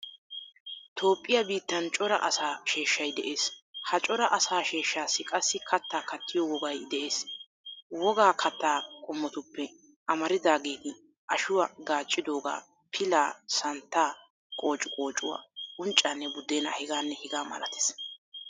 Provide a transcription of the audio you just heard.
Toophphiyaa biittan cora asaa sheshshay de'es. Ha cora asaa sheshshasii qassi katta kattiyo wogay de'es. Wogaa katta qommottuppe amarattidageti ashuwaa gaaccidoga, pilaa, santta qociqoocuwaa, unccanne budena h. h. m